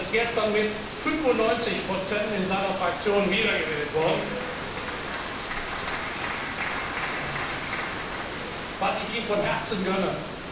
Er ist gestern mit 95 in seiner Fraktion wiedergewählt worden, was ich ihm von Herzen gönne.